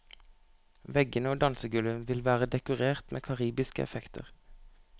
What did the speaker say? Veggene og dansegulvet vil være dekorert med karibiske effekter.